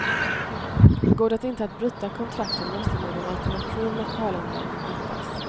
Går det inte att bryta kontrakten måste någon alternativ lokalanvändning hittas.